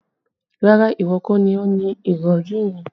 Rárá, ìwọ kọ́ ni o ni ìrọ̀rí yẹn